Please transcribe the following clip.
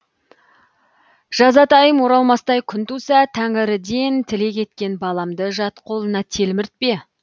жазатайым оралмастай күн туса тәңіріден тілек еткен баламды жат қолына телміртпе